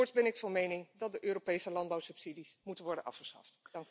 Voorts ben ik van mening dat de Europese landbouwsubsidies moeten worden afgeschaft.